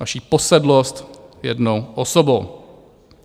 Vaši posedlost jednou osobou.